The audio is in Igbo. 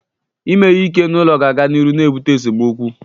Ime ihe ike n'ụlọ ga-aga n'iru ibute esemokwu.